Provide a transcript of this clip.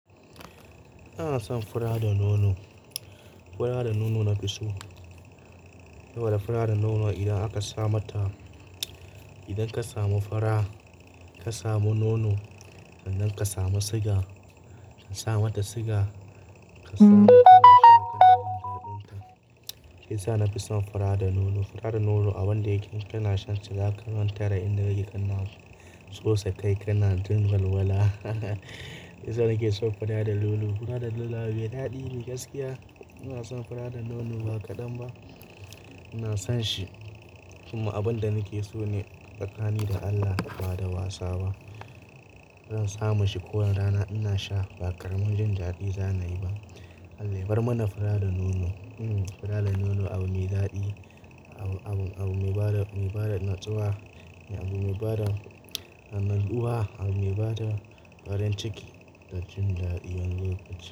Ina son fura da nono. Fura da nono na fi so. Toda fura da nono idan akasa mata, idan kasamu fura, ka samu nono sannan ka samu siga, kasa mata siga, ka samu shakar daren daɗin ta. Shiyasa nafison fura da nono. Fura da nono a wanda yake kana shantace zaka mantada inda kake kanna su. Sosai kai kana jin walwala. Shiyasa nakeson fura da nono. Fura da nono abu mai daɗine gaskiya. Inason fura da nono ba kaɗan ba, ina sonshi. Kuma abinda nake sone tsakani da Allah bada wasaba. Zan samu shi kowane rana inasha, ba ƙaramin jin daɗi zana yiba. Allah yabar mana fura da nono. Hmm, fura da nono abu mai daɗi, abu, abu, abu mai bada, mai bada natsuwa, abu mai bada natsuwa, abu mai bada farin ciki dajin daɗi wani lokaci.